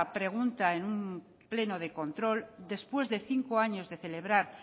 pregunta en un pleno de control después de cinco años de celebrar